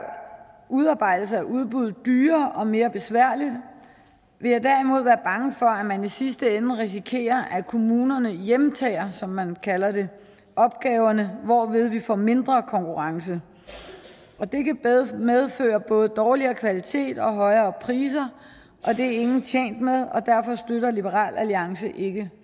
udarbejdelse af udbud dyrere og mere besværligt vil jeg derimod være bange for at man i sidste ende risikerer at kommunerne hjemtager som man kalder det opgaverne hvorved vi får mindre konkurrence og det kan medføre både dårligere kvalitet og højere priser og det er ingen tjent med derfor støtter liberal alliance ikke